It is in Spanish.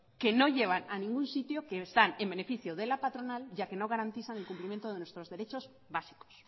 que no llevan a ningún sitio que están en beneficio de la patronal ya que no garantizan el cumplimiento de nuestros derechos básicos